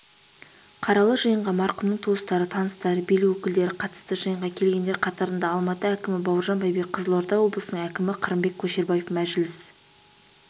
қаралы жиынға марқұмның туыстары таныстары билік өкілдері қатысты жиынға келгендер қатарында алматы әкімі бауыржан байбек қызылорда облысының әкімі қырымбек көшербаев мәжіліс